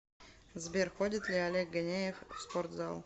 сбер ходит ли олег ганеев в спортзал